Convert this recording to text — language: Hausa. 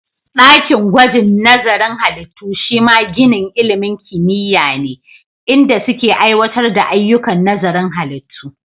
Ɗakin gwajin nazarin halittu shima ginin ilimin kimiyya ne, inda suke aiwatar da ayyukan nazarin halittu.